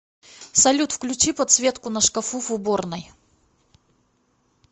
салют включи подсветку на шкафу в уборной